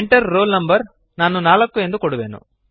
Enter roll no ನಾನು 4 ನ್ನು ಕೊಡುವೆನು